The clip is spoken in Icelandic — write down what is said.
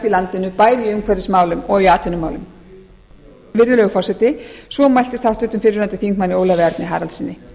landinu bæði í umhverfismálum og í atvinnumálum virðulegur forseti svo mæltist háttvirtur fyrrverandi þingmaður ólafi erni haraldssyni